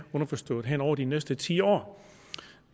underforstået hen over de næste ti år